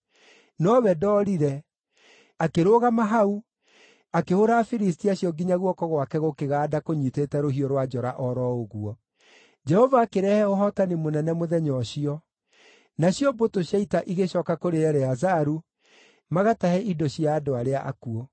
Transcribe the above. nowe ndoorire, akĩrũgama hau, akĩhũũra Afilisti acio nginya guoko gwake gũkĩganda kũnyiitĩte rũhiũ rwa njora o ro ũguo. Jehova akĩrehe ũhootani mũnene mũthenya ũcio. Nacio mbũtũ cia ita igĩcooka kũrĩ Eleazaru, magatahe indo cia andũ arĩa akuũ.